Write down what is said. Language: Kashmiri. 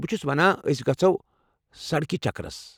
بہٕ چھُس ونان ٲسۍ گژھو سڈكہِ چكرس ۔